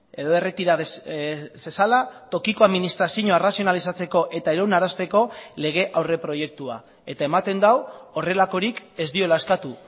edo erretira zezala tokiko administrazioa arrazionalizatzeko eta iraunarazteko lege aurreproiektua eta ematen du horrelakorik ez diola eskatu